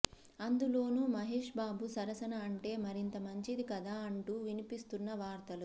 అందులోనూ మహేష్బాబు సరసన అంటే మరింత మంచిది కదా అంటూ వినిపిస్తున్న వార్తలు